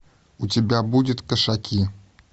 у тебя будет кошаки